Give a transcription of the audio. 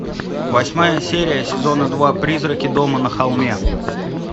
восьмая серия сезона два призраки дома на холме